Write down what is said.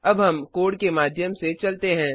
अब हम कोड के माध्यम से चलते हैं